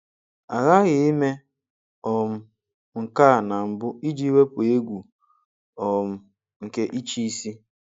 A ghaghị ime um nke a na mbụ iji wepụ egwu um nke ịchịisi